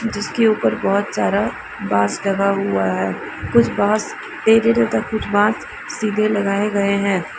जिसके ऊपर बहोत सारा बांस लगा हुआ है कुछ बांस टेढ़े तथा कुछ बांस सीधे लगाए गए हैं।